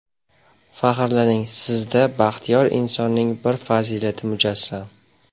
Faxrlaning, sizda baxtiyor insonning bir fazilati mujassam.